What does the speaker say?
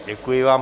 Děkuji vám.